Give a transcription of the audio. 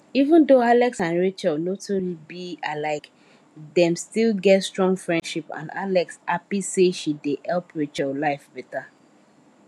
even though alex and rachel no too be alike dem still get strong friendship and alex happy say she dey help rachel life better